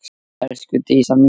Elsku Dísa mín.